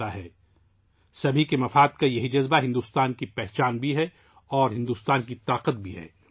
سَرو جَن ہِتایے کا یہی جذبہ بھارت کی پہچان بھی ہے اور بھارت کی قوت بھی ہے